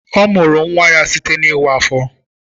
Ọ mụrụ nwa ya site na iwa afo.